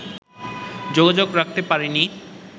যোগাযোগ রাখতে পারিনি